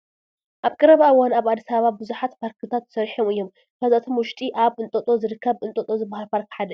ኣብ ቀረባ እዋን ኣብ ኣዲስ ኣባባ ብዙሓት ፓርክታት ተሰሪሖም እዮም፡፡ ካብዚኣቶም ውሽጢ ኣብ እንጦጦ ዝርከብ እንጦጦ ዝበሃል ፓርክ ሓደ እዩ፡፡